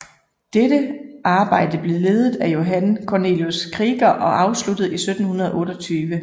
Dette arbejde blev ledet af Johan Cornelius Krieger og afsluttet i 1728